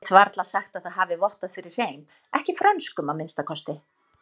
Get varla sagt það hafi vottað fyrir hreim, ekki frönskum að minnsta kosti.